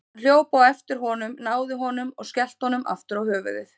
Hann hljóp á eftir honum, náði honum og skellti honum aftur á höfuðið.